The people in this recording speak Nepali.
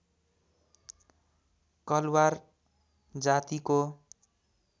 कलवार जातिको